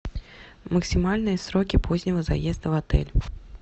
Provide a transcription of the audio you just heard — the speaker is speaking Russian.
максимальные сроки позднего заезда в отель